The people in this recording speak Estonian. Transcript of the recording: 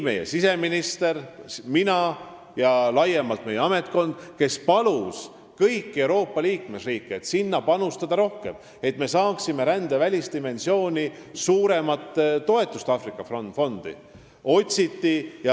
Meie siseminister, mina ja ametnikkond laiemalt, me palusime kõiki Euroopa liikmesriike sinna rohkem panustada, et me saaksime suurema toetuse Aafrika fondile.